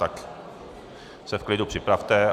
Tak se v klidu připravte...